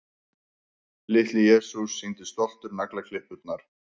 Litli-Jesús sýndi stoltur naglaklippurnar.